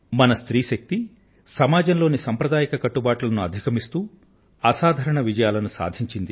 మన స్త్రీ శక్తి సమాజం లోని సాంప్రదాయక కట్టుబాట్లను అధిగమిస్తూ అసాధారణ విజయాలను సాధించారు